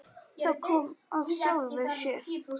Það kom af sjálfu sér.